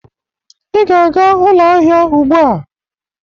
Ị ga-aga ụlọ ahịa ugbu a.